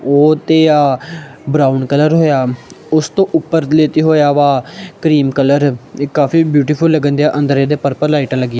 ਉਹ ਤੇ ਆ ਬਰਾਊਨ ਕਲਰ ਹੋਇਆ ਉਸ ਤੋਂ ਉੱਪਰ ਲੇਤੇ ਹੋਇਆ ਵਾ ਕਰੀਮ ਕਲਰ ਕਾਫੀ ਬਿਊਟੀਫੁਲ ਲਗਣ ਦੇ ਅੰਦਰ ਇਹਦੇ ਪਰਪਲ ਲਾਈਟਾਂ ਲੱਗੀਆਂ।